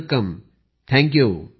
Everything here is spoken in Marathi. Pradhan Mantri thank you